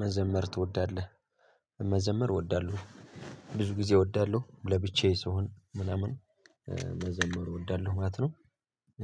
መዘመር ትወዳለህ? መዘመር እወዳለሁ ብዙ ጊዜ እወዳለሁ ለብቻዬ ስሆን ምናምን መዘመሩ እወዳለሁ ማለት ነው።